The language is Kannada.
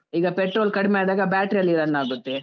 ಈಗ pertol ಕಡ್ಮೆ ಆದಾಗ battery ಅಲ್ಲಿ run ಆಗುತ್ತೆ.